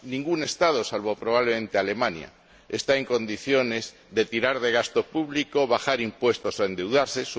Ningún Estado, salvo, probablemente, Alemania, está en condiciones de tirar de gasto público, bajar impuestos o endeudarse.